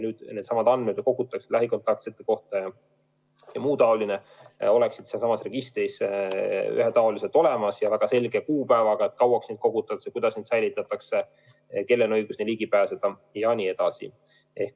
Needsamad andmed lähikontaktsete kohta ja muu taoline info oleks selles registris ühetaoliselt olemas ja väga selge kuupäevaga, kui kauaks neid kogutakse, kuidas neid säilitatakse, kellel on õigus neile ligi pääseda jne.